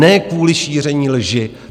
Ne kvůli šíření lži.